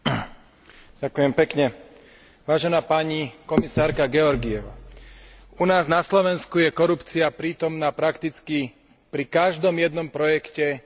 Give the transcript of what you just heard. Vážená pani komisárka Georgieva, u nás na Slovensku je korupcia prítomná prakticky pri každom jednom projekte, ktorý je financovaný z eurofondov.